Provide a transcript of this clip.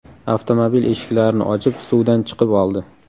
avtomobil eshiklarini ochib, suvdan chiqib oldi.